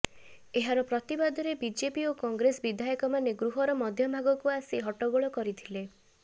ଏହାର ପ୍ରତିବାଦରେ ବିଜେପି ଓ କଂଗ୍ରେସ ବିଧାୟକମାନେ ଗୃହର ମଧ୍ୟଭାଗକୁ ଆସି ହଟ୍ଟଗୋଳ କରିଥିଲେ